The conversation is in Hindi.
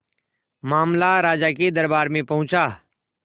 मामला राजा के दरबार में पहुंचा